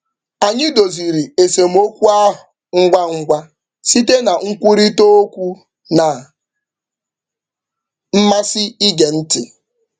Anyị doziri esemokwu ahụ ngwa ngwa site na nkwurịtaokwu na mmasị ige ntị.